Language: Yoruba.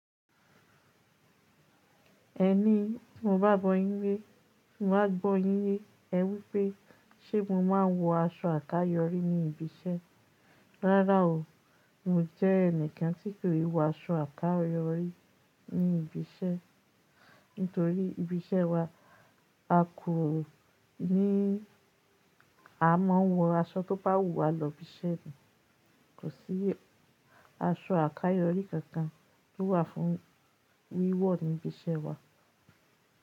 Ẹni mo bá gbọ́ yín lé, mo máa gbọ́ yín yé, ẹ wípé sé mo máa ń wọ aṣọ àkayòrí ní ibi iṣẹ́. Rárá o, n ò jẹ́ ẹnìkan tí kò lè wọ aṣọ àkayòrí ní ibi iṣẹ́. Nítorí ibi iṣẹ́ wa, a kò ní à mọ́ wọ aṣọ tó bá wù wá lọ ibi iṣẹ́ ni. Kò sí aṣọ àkayòrí kankan tó wà fún wíwọ̀ ní ibi iṣẹ́ wa.